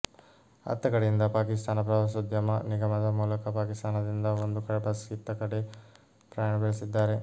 ಅತ್ತ ಕಡೆಯಿಂದ ಪಾಕಿಸ್ತಾನ ಪ್ರವಾಸೋದ್ಯಮ ನಿಗಮದ ಮೂಲಕ ಪಾಕಿಸ್ತಾನದಿಂದ ಒಂದು ಬಸ್ ಇತ್ತ ಕಡೆ ಪ್ರಯಾಣ ಬೆಳೆಸಿದ್ದಾರೆ